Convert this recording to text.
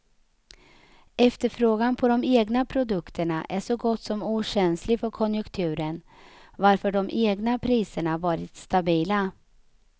Efterfrågan på de egna produkterna är så gott som okänslig för konjunkturen, varför de egna priserna varit stabila.